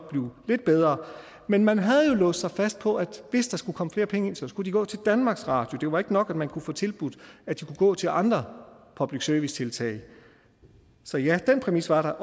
blive lidt bedre men man havde jo låst sig fast på at hvis der skulle komme flere penge ind skulle de gå til danmarks radio det var ikke nok at man kunne få tilbudt at de kunne gå til andre public service tiltag så ja den præmis var der